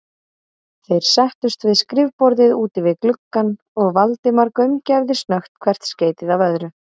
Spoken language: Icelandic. Þeir settust við skrifborðið úti við gluggann, og Valdimar gaumgæfði snöggt hvert skeytið af öðru.